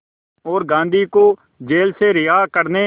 और गांधी को जेल से रिहा करने